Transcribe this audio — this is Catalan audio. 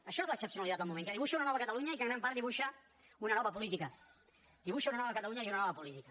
això és l’excepcionalitat del moment que dibuixa una nova catalunya i que en gran part dibuixa una nova política dibuixa una nova catalunya i una nova política